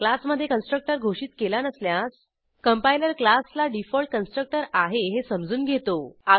क्लासमधे कन्स्ट्रक्टर घोषित केला नसल्यास कंपायलर क्लासला डिफॉल्ट कन्स्ट्रक्टर आहे हे समजून घेतो